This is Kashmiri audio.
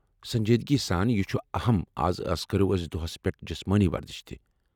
سنجیدگی سان ، یہ چھ اہم از اَس کٔرو دۄہس پٮ۪ٹھ جسمٲنی ورزش تہ۔